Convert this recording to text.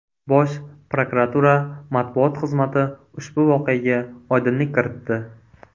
Bosh prokuratura matbuot xizmati ushbu voqeaga oydinlik kiritdi .